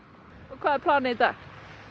hvað er planið í dag